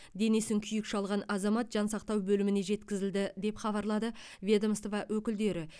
денесін күйік шалған азамат жансақтау бөліміне жеткізілді деп хабарлады ведомство өкілдері